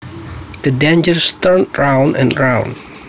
The dancers turned round and around